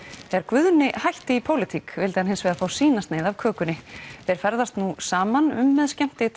þegar Guðni hætti í pólitík vildi hann hins vegar fá sína sneið af kökunni þeir ferðast nú saman um með